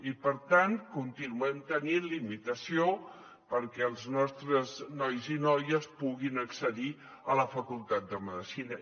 i per tant continuem tenint limitació perquè els nostres nois i noies puguin accedir a la facultat de medicina